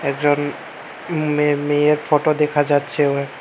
একজন মেয়ে মেয়ের ফটো দেখা যাচ্ছে ও--